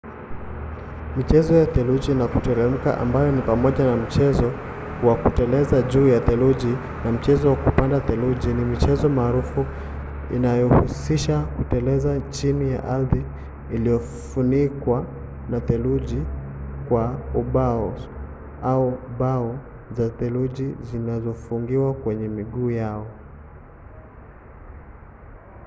michezo ya theluji ya kuteremka ambayo ni pamoja na mchezo wa kuteleza juu ya theluji na mchezo wa kupanda theluji ni michezo maarufu inayohusisha kuteleza chini ya ardhi iliyofunikwa na theluji kwa ubaos au bao za theluji zilizofungiwa kwenye miguu yako